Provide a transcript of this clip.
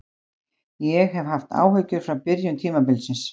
Ég hef haft áhyggjur frá byrjun tímabilsins.